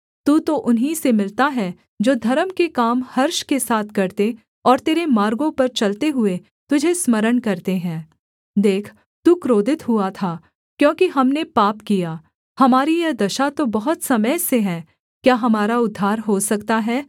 तू तो उन्हीं से मिलता है जो धर्म के काम हर्ष के साथ करते और तेरे मार्गों पर चलते हुए तुझे स्मरण करते हैं देख तू क्रोधित हुआ था क्योंकि हमने पाप किया हमारी यह दशा तो बहुत समय से है क्या हमारा उद्धार हो सकता है